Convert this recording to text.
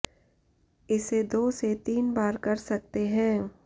इसे दो से तीन बार कर सकते हैं